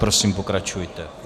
Prosím, pokračujte.